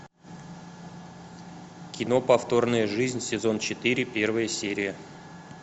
кино повторная жизнь сезон четыре первая серия